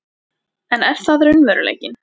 En er það raunveruleikinn?